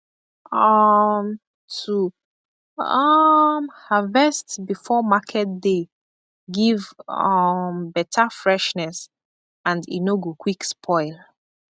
um to um harvest before market day give um better freshness and e no go quick spoil